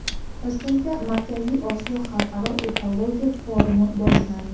Toshkentda Markaziy Osiyo xalqaro ekologiya forumi boshlandi .